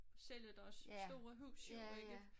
Sælge deres store huse jo ikke